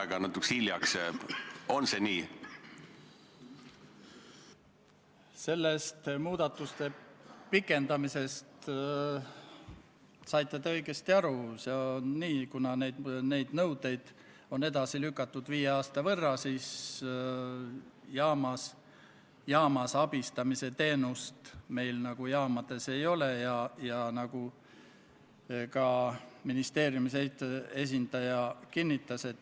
Ka otsustas riigikaitsekomisjon samal istungil konsensuslikult, et Riigikogule tehakse ettepanek eelnõu teine lugemine lõpetada ning Riigikogu kodu- ja töökorra seaduse §-le 109 tuginedes eelnõu lõpphääletusele panna ja Riigikogu otsusena vastu võtta.